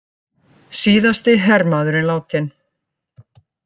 Síðasti hermaðurinn látinn